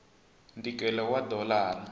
ntikelo wa dolara